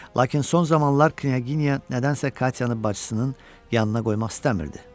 Lakin son zamanlar knyaginya nədənsə Katyani bacısının yanına qoymaq istəmirdi.